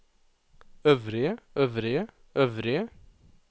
øvrige øvrige øvrige